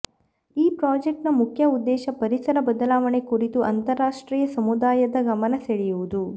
ಈ ಪ್ರಾಜೆಕ್ಟ್ನ ಮುಖ್ಯ ಉದ್ದೇಶ ಪರಿಸರ ಬದಲಾವಣೆ ಕುರಿತು ಅಂತರರಾಷ್ಟ್ರೀಯ ಸಮುದಾಯದ ಗಮನ ಸೆಳೆಯುವುದು